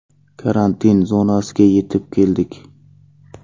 Karantin zonasiga yetib keldik.